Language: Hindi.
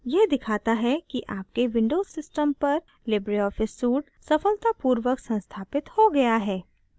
यह दिखाता है कि आपके windows system पर libreoffice suite सफलतापूर्वक संस्थापित हो गया है